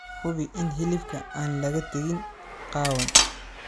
Hubi in hilibka aan laga tegin qaawan.